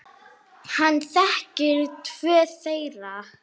Hann þekkti tvo þeirra.